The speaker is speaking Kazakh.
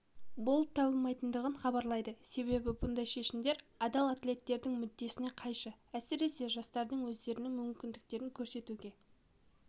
болып табылмайтындығын хабарлады себебі бұндай шешімдер адал атлеттердің мүддесіне қайшы әсіресе жастардың өздерінің мүмкіндіктерін көрсетуге